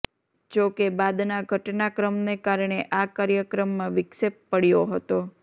જો કે બાદના ઘટનાક્રમને કારણે આ કાર્યક્રમમાં વિક્ષેપ પડયો હતો